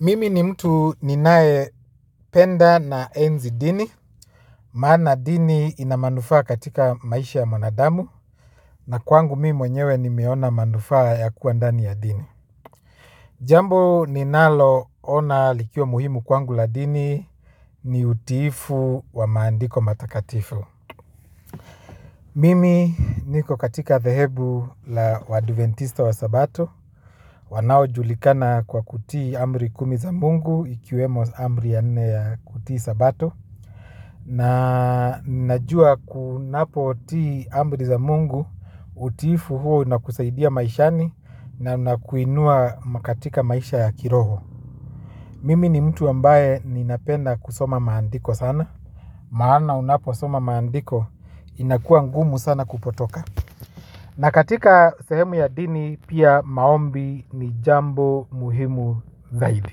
Mimi ni mtu ninaependa naenzi dini, maana dini ina manufaa katika maisha ya mwanadamu, na kwangu mimi mwenyewe nimeona manufaa ya kuwa ndani ya dini. Jambu ninaloona likiwa muhimu kwangu la dini ni utiifu wa maandiko matakatifu. Mimi niko katika dhehebu la waadventista wasabato. Wanao julikana kwa kutii amri kumi za mungu ikiwemo amri ya nne ya kutii sabato. Na najua kunapotii amri za Mungu utiifu huo unakusaidia maishani na unakuinua katika maisha ya kiroho. Mimi ni mtu ambaye ninapenda kusoma maandiko sana. Maana unapo soma maandiko inakua ngumu sana kupotoka. Na katika sehemu ya dini pia maombi ni jambo muhimu zaidi.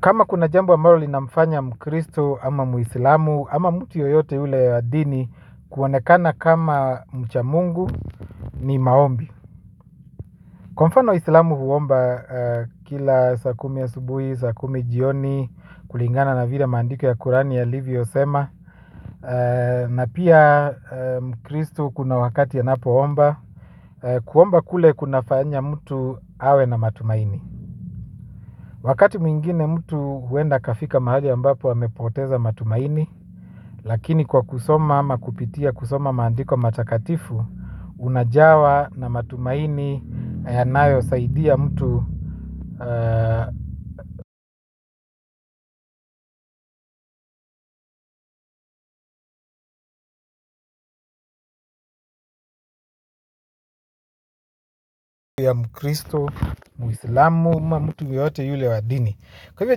Kama kuna jambo ambalo linafanya mkristo ama muislamu ama mtu yoyote ule ya dini kuonekana kama mcha Mungu ni maombi. Kwa mfano islamu huomba kila saa kumi ya asubuhi, saa kumi jioni kulingana na vile maandiko ya kurani yalivyosema. Na pia mkristo kuna wakati anapoomba. Kuomba kule kunafanya mtu awe na matumaini wakati mwingine mtu huenda akafika mahali amepoteza matumaini. Lakini kwa kusoma ama kupitia kusoma maandiko matakatifu unajawa na matumaini yanayosaidia mtu ya mkristo muislamu, mtu yeyote yule wa dini kwa hivyo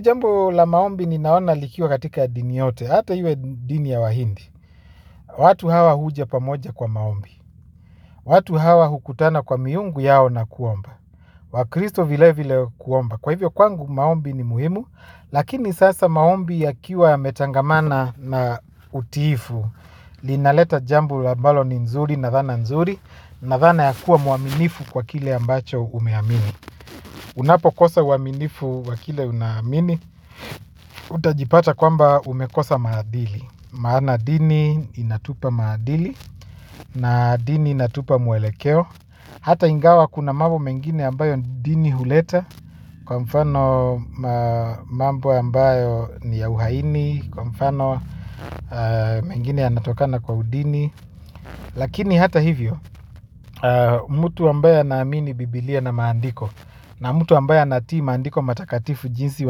jambo la maombi ninaona likiwa katika ya dini yote. Hata iwe dini ya wahindi watu hawa huja pamoja kwa maombi. Watu hawa hukutana kwa miungu yao na kuomba. Wakristo vile vile kuomba. Kwa hivyo kwangu maombi ni muhimu. Lakini sasa maombi yakiwa yametangamana na utiifu linaleta jambo ambalo ni nzuri na dhana nzuri. Na dhana ya kuwa muaminifu kwa kile ambacho umeamini. Unapo kosa uaminifu kwa kile unaamini. Utajipata kwamba umekosa maadili maana dini inatupa maadili. Na dini inatupa mwelekeo. Hata ingawa kuna mambo mengine ambayo dini huleta kwa mfano mambo ambayo ni ya uhaini kwa mfano mengine yanatokana kwa udini. Lakini hata hivyo, mtu ambaye anaamini Biblia na maandiko na mtu ambayo anatii maandiko matakatifu jinsi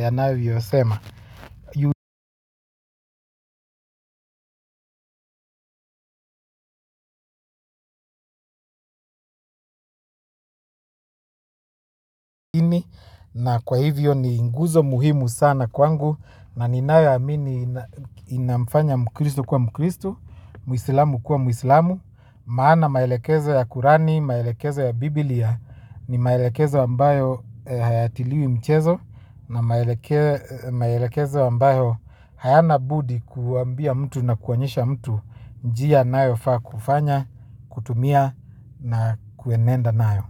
wanavyo sema. Na kwa hivyo ni nguzo muhimu sana kwangu na ninayeamini inamfanya mkristu kwa mkristu muislamu kuwa muislamu. Maana maelekezo ya Kurani, maelekezo ya Biblia. Ni maelekezo ambayo hayatiliwi mchezo. Na maelekezo ambayo hayana budi kuambia mtu na kuonyesha mtu njia anayo faa kufanya, kutumia na kuenenda nayo.